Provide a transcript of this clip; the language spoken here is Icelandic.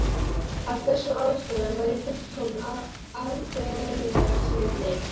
Af þessum ástæðum var ég fullkominn alþjóðasinni.